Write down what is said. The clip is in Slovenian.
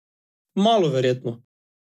Malo verjetno!